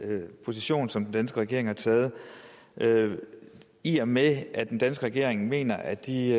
den position som den danske regering har taget i og med at den danske regering mener at de